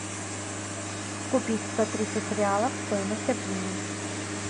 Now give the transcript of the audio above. купить сто тридцать реалов стоимость обмена